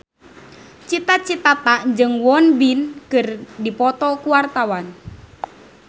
Cita Citata jeung Won Bin keur dipoto ku wartawan